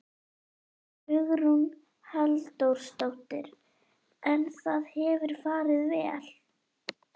Hugrún Halldórsdóttir: En það hefur farið vel?